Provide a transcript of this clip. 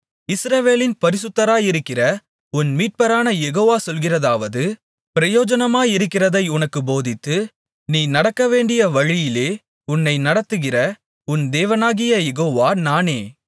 இஸ்ரவேலின் பரிசுத்தராயிருக்கிற உன் மீட்பரான யெகோவா சொல்கிறதாவது பிரயோஜனமாயிருக்கிறதை உனக்குப் போதித்து நீ நடக்கவேண்டிய வழியிலே உன்னை நடத்துகிற உன் தேவனாகிய யெகோவா நானே